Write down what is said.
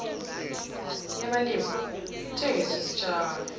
yabalimi ithengisa isitshalo